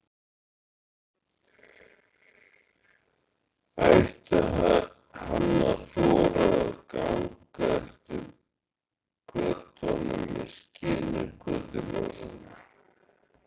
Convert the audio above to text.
Ætti hann að þora að ganga eftir götunum í skini götuljósanna?